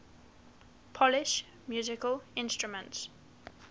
polish musical instruments